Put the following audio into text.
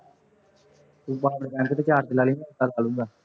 ਤੂੰ power bank ਤੇ charge ਲਾ ਲਈਂ, ਮੈਂ ਏਦਾਂ ਲਾ ਲੂੰ ਗਾ